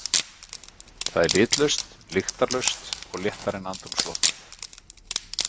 Það er litlaust, lyktarlaust og léttara en andrúmsloftið.